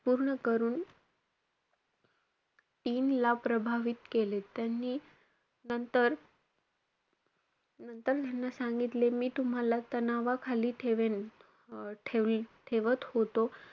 पूर्ण करून team ला प्रभावित केले. त्यांनी नंतर~ नंतर त्यांना सांगितले, मी तुम्हाला तणावाखाली ठेवेन, अं ठेवल~ ठेवत होतो.